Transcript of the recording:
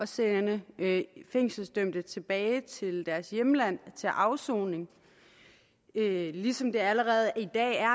sende fængselsdømte tilbage til deres hjemland til afsoning ligesom det allerede i dag er